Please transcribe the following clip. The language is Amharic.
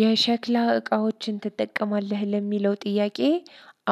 የሸክላ እቃዎችን ትጠቀማለህ ለሚለው ጥያቄ